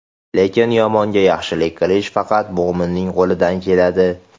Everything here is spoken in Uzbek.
Lekin yomonga yaxshilik qilish faqat mo‘minning qo‘lidan keladi.